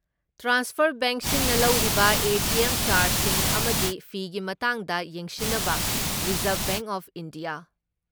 transfer ꯕꯦꯡꯁꯤꯡꯅ ꯂꯧꯔꯤꯕ ATM ꯆꯥꯔꯖꯁꯤꯡ ꯑꯃꯗꯤ ꯐꯤꯒꯤ ꯃꯇꯥꯡꯗ ꯌꯦꯡꯁꯤꯟꯅꯕ ꯔꯤꯖꯥꯔꯞ ꯕꯦꯡ ꯑꯣꯐ ꯏꯟꯗꯤꯌꯥ